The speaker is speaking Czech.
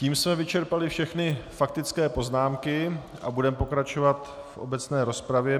Tím jsme vyčerpali všechny faktické poznámky a budeme pokračovat v obecné rozpravě.